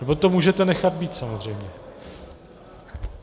Nebo to můžete nechat být, samozřejmě.